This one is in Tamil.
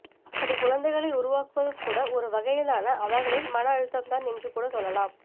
அப்படிக் குழந்தைகளை உருவாக்குவதும் கூட ஒரு வகையிலான அவர்களின் மன அழுத்தம்தான் என்று கூட சொல்லலாம்